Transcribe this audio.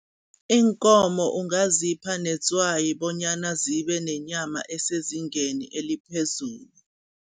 Iinkomo ungazipha netswayi bonyana zibe nenyama esezingeni eliphezulu.